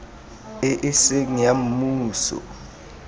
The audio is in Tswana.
e e seng ya mmuso